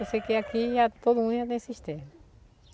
Eu sei que aqui todo mundo ia ter cisterna.